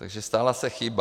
Takže stala se chyba.